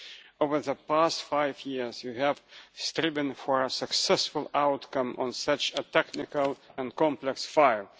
Over the past five years, you have striven for a successful outcome on such a technical and complex file.